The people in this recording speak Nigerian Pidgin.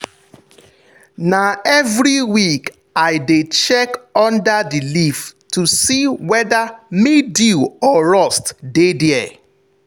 na every week i dey check under the leaf to see whether mildew or rust dey there.